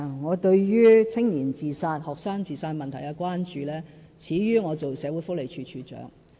我對於年青人自殺、學生自殺問題的關注，始於我任職社會福利署署長。